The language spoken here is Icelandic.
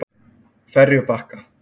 Ferjubakka